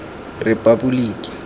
repaboliki